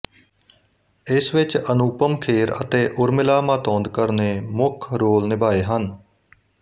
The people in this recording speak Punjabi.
ਇਸ ਵਿੱਚ ਅਨੂਪਮ ਖੇਰ ਅਤੇ ਉਰਮਿਲਾ ਮਾਤੋਂਦਕਾਰ ਨੇ ਮੁੱਖ ਰੋਲ ਨਿਭਾਏ ਹਨ